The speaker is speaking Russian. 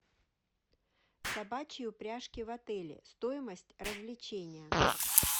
собачьи упряжки в отеле стоимость развлечения